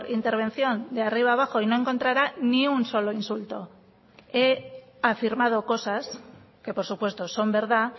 intervención de arriba abajo y no encontrará ni un solo insulto he afirmado cosas que por supuesto son verdad